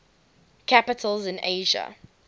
capitals in asia